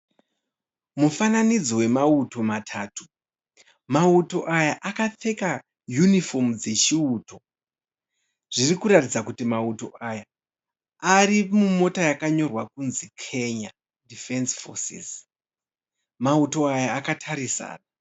Mufananidzo wemauto matatu. Mauto aya akapfeka yunifomu dzechiuto. Zviri kuratidza kuti mauto aya ari mumota yakanyorwa kunzi Kenya Defence Forces. Mauto aya akatarisana.